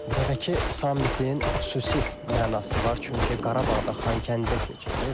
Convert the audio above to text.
Bu dəfəki sammitin xüsusi mənası var, çünki Qarabağda Xankəndidə keçirilir.